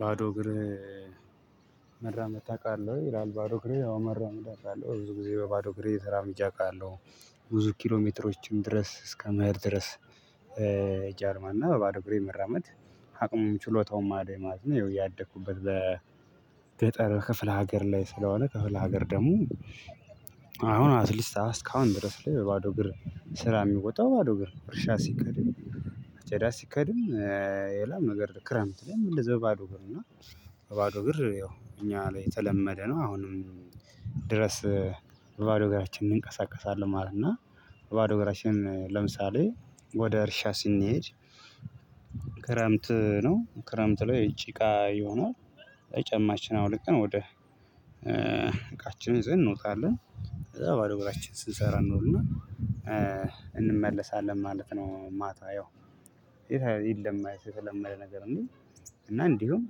ባዶ እግር መራመድ ታውቃለህ ወይ? ይላል ባዶ እግሬ ያው መራመድ አውቃለሁ ብዙ ጊዜ በባዶ ግሬ ተራምጀ አውቃለሁ ብዙ ኪሎ ሜትሮችን ድረስ እስከ መሄድ ድረስ ጃርማ እና በባዶ እግሬ መራመድ አቅሙም ችሎታውም አለኝ ማለት ነው። ማዶ ያው ያደኩበት በገጠር ክፍለ ሀገር ላይ ስለሆነ ክፍለ ሀገር ደግሞ አሁን አስካሁን ድረስ ላይ ባዶ እግር ስራ የሚወጣው ባዶ ግር ነው። እርሻ ሲከድም አጨዳ ሲከድም የላም ነገር ክረምት ላይም እንደዚያው ባዶ ግር እና ባዶ ግር ያው እኛ ላይ የተለመደ ነው። አሁንም ድረስ በባዶ እግራችን እንቀሳቀሳለን ማለት ነው። እና ባዶ እግራችንን ለምሳሌ ወደ እርሻ ስንሄድ ክረምት ነው ክረምት ላይ ጭቃ ይሆናል። ጫማችን አውልቀን ወደ እቃችን ይዘን እንወጣለን ከዛ ባዶ ግራችን ስንሰራ እንውልና እንመለሳለን ማለት ነው። ማታ ያው ይሄ ይለማ የተለመደ ነገር እንዴ? እና እንዲሁም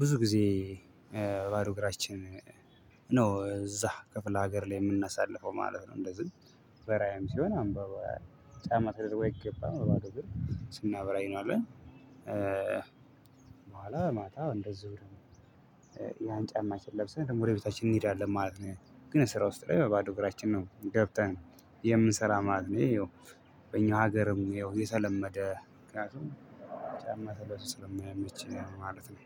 ብዙ ጊዜ ባዶ እግራችን ነው እዛ ክፍለ ሀገር ላይ የምናሳልፈው ማለት ነው። እንደዚህ በራያም ሲሆን አንባባ ጫማ ተደርጎ አይገባም በማዶ ግር ስናበራይ እንውላለን። በኋላ ማታ እንደዝው ያን ጫማችን ለብሰን ደግሞ ወደ ቤታችን እንሄድአለን ማለት ነው። ግን ስራ ውስጥ ላይ በባዶ እግራችን ነው ገብተን የምንሰራ ማለት ነው። ይየው በኛ ሀገርም ይኸው የተለመደ ምክንያቱም ጫማ ተለብሶ ስለማይመች ነው ማለት ነው